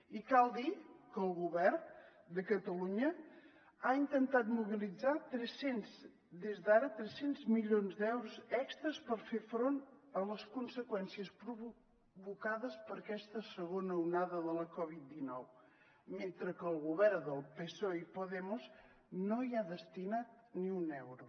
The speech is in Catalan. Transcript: i cal dir que el govern de catalunya ha intentat mobilitzar des d’ara tres cents milions d’euros extres per fer front a les conseqüències provocades per aquesta segona onada de la covid dinou mentre que el govern del psoe i podemos no hi ha destinat ni un euro